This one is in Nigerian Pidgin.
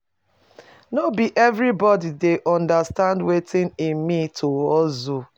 No be everybodi dey understand wetin e mean to hustle.